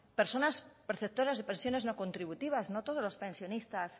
personas preceptoras de pensiones no contributivas no todos los pensionistas